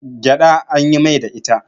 gyaɗa an yin Mai da ita